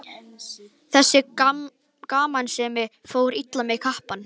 Þessi gamansemi fór illa í kappann.